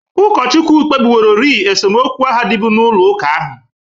Ụkọchukwu kpebiworori esemokwu ahụ dịbụ n'ụlọ ụka ha.